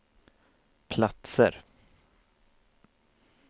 platser